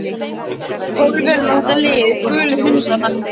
Pólverjana og þetta lið. gulu hundana.